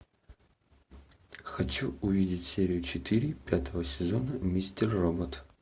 хочу увидеть серию четыре пятого сезона мистер робот